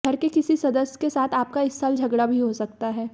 घर के किसी सदस्य के साथ आपका इस साल झगड़ा भी हो सकता है